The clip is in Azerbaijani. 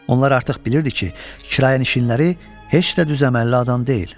Onlar artıq bilirdi ki, kirayənişinlər heç də düz əməlli adam deyil.